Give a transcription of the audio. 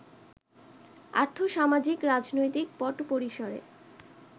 আর্থ-সামাজিক-রাজনৈতিক পটপরিসরে